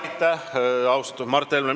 Aitäh, austatud Mart Helme!